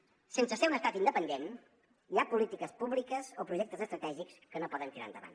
sense ser un estat independent hi ha polítiques públiques o projectes estratègics que no poden tirar endavant